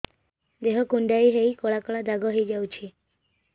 ଦେହ କୁଣ୍ଡେଇ ହେଇ କଳା କଳା ଦାଗ ହେଇଯାଉଛି